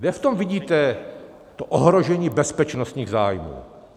Kde v tom vidíte to ohrožení bezpečnostních zájmů?